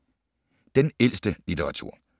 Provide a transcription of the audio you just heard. Den ældste litteratur